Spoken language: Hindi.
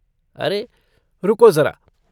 अरे, रुको जरा।